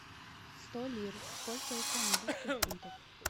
сто лир сколько это английских фунтов